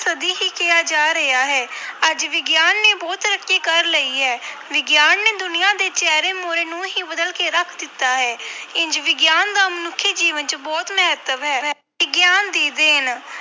ਸਦੀ ਹੀ ਕਿਹਾ ਜਾ ਰਿਹਾ ਹੈ ਅੱਜ ਵਿਗਿਆਨ ਨੇ ਬਹੁਤ ਤਰੱਕੀ ਕਰ ਲਈ ਹੈ। ਵਿਗਿਆਨ ਨੇ ਦੁਨੀਆ ਦੇ ਚਿਹਰੇ ਮੂਹਰੇ ਨੂੰ ਹੀ ਬਦਲ ਕੇ ਰੱਖ ਦਿੱਤਾ ਹੈ ਇੰਞ ਵਿਗਿਆਨ ਦਾ ਮਨੁੱਖੀ ਜੀਵਨ ਵਿੱਚ ਬਹੁਤ ਮਹੱਤਵ ਹੈ। ਵਿਗਿਆਨ ਦੀ ਦੇਣ